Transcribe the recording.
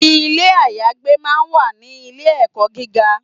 Ilé ayagbé máa ń wà ní ilé ẹ̀kọ́ gíga.